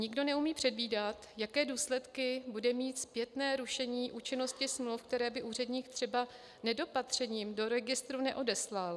Nikdo neumí předvídat, jaké důsledky bude mít zpětné rušení účinnosti smluv, které by úředník třeba nedopatřením do registru neodeslal.